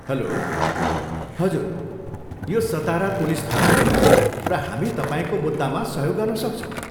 Hello, हजुर यो Satara police थाना हो र हामी तपाईँको मुद्दामा सहयोग गर्न सक्छौँ।